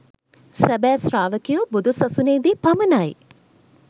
සැබෑ ශ්‍රාවකයෝ බුදු සසුනේදී පමණයි